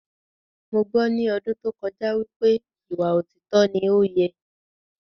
Mo gbọ́ ní ọdún tó kọjá wípé ìwà òtítọ ni ọ́ yẹ